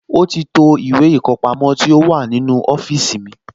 Ó ti to ìwé ìkọpamọ́ tó wà nínú ọ́fíìsì mi